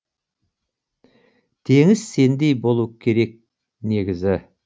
теңіз сендей болу керек негізі